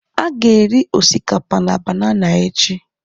A ga-eri osikapa na banana echi